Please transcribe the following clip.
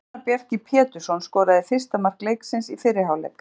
Fannar Bjarki Pétursson skoraði fyrsta mark leiksins í fyrri hálfleik.